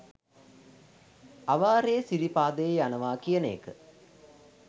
අවාරයේ සිරිපාදේ යනවා කියන එක